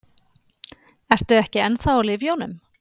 Ertu ekki ennþá á lyfjunum?